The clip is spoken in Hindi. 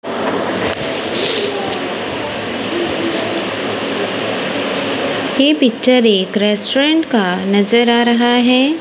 ये पिक्चर एक रेस्टोरेंट का नजर आ रहा है।